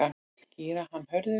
Skýra hann Hörður.